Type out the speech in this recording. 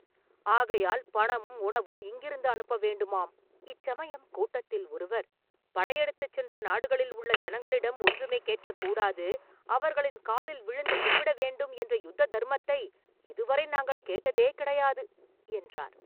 ஆகையால் பணமும் உணவும் இங்கிருந்து அனுப்ப வேண்டுமாம்!” இச்சமயம் கூட்டத்தில் ஒருவர், “படையெடுத்துச் சென்ற நாடுகளில் உள்ள ஜனங்களிடம் ஒன்றுமே கேட்கக் கூடாது; அவர்களின் காலில் விழுந்து கும்பிட வேண்டும் என்ற யுத்த தர்மத்தை இதுவரை நாங்கள் கேட்டதே கிடையாது!” என்றார்.